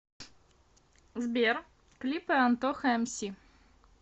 сбер клипы антоха эмси